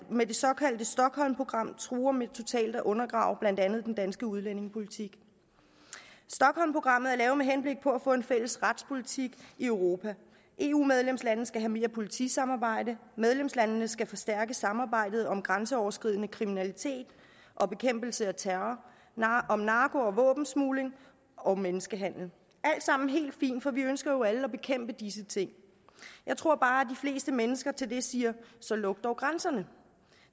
med det såkaldte stockholmprogram truer med totalt at undergrave blandt andet den danske udlændingepolitik stockholmprogrammet er lavet med henblik på at få en fælles retspolitik i europa eu medlemslandene skal have mere politisamarbejde og medlemslandene skal forstærke samarbejdet om grænseoverskridende kriminalitet og bekæmpelsen af terror om narko og våbensmugling og menneskehandel det alt sammen helt fint for vi ønsker jo alle at bekæmpe disse ting jeg tror bare at fleste mennesker til det siger så luk dog grænserne